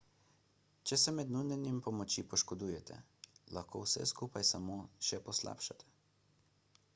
če se med nudenjem pomoči poškodujete lahko vse skupaj samo še poslabšate